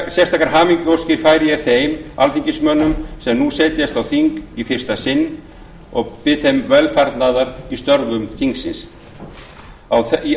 sérstakar hamingjuóskir færi ég þeim alþingismönnum sem nú setjast á þing í fyrsta sinn og bið þeim velfarnaðar í störfum á þinginu